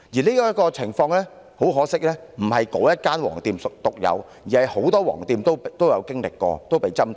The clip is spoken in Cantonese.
很可惜這種情況，並非該間"黃店"所獨有，而是很多"黃店"也曾經歷和被針對。